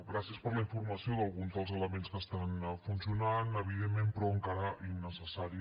gràcies per la informació d’alguns dels elements que estan funcionant evidentment però encara innecessaris